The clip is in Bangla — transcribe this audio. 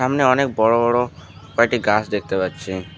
সামনে অনেক বড় বড় কয়েকটি গাছ দেখতে পাচ্ছি।